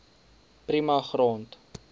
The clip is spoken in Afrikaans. prima grond